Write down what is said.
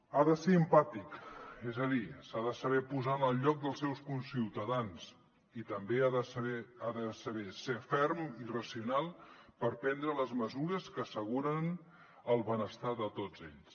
ha de ser empàtic és a dir s’ha de saber posar en el lloc dels seus conciutadans i també ha de saber ser ferm i racional per prendre les mesures que asseguren el benestar de tots ells